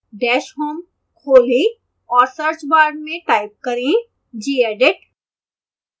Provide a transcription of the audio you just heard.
dash home खोलें और search bar में type करें gedit